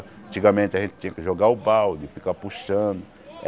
Antigamente a gente tinha que jogar o balde, ficar puxando.